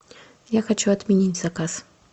я хочу отменить заказ